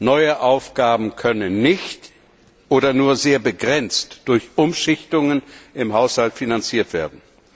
Neue Aufgaben können nicht oder nur sehr begrenzt durch Umschichtungen im Haushalt finanziert werden.